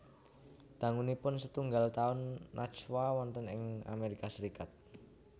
Dangunipun setunggal taun Najwa wonten ing Amérika Sarékat